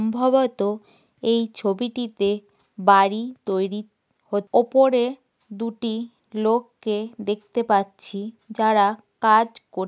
সম্ভবত এই ছবিটিতে বাড়ি তরি হ-- ওপরে দুটি লোককে দেখতে পাচ্ছি যারা কাজ কর--